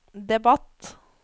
debatt